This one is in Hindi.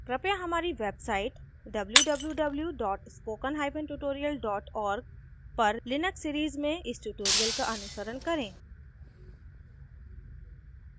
कृपया हमारी website www spokentutorial org पर linux series में इस tutorial का अनुसरण करें